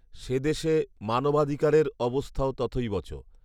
সেদেশে মানবাধিকারের অবস্থাও তথৈবচ